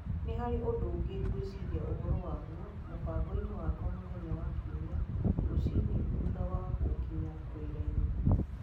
Nĩ harĩ ũndũ ũngĩ ngwĩciria ũhoro waguo mũbango-inĩ wakwa mũthenya wa Kiumia rũcinĩ thutha wa gũkinya wĩra-inĩ.